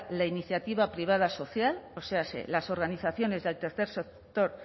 la iniciativa privada social o sea las organizaciones del tercer sector